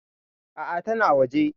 A'a tana waje.